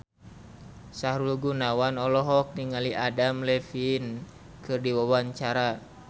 Sahrul Gunawan olohok ningali Adam Levine keur diwawancara